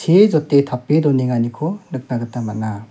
jot·e tape donenganiko nikna gita man·a.